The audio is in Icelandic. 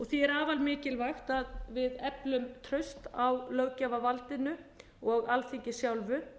því er afar mikilvægt að við eflum traust á löggjafarvaldinu og alþingi sjálfu